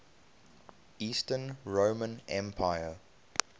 eastern roman empire